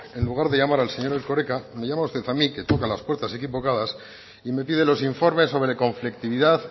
en lugar de llamar al señor erkoreka me llama usted a mí que toca las puertas equivocadas y me pide los informes sobre conflictividad